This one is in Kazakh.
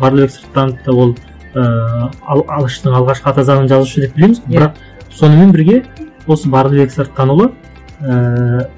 барлыбек сырттановты ол ііі алаштың алғашқы ата заңын жазушы деп білеміз ғой бірақ сонымен бірге осы барлыбек сырттанұлы ііі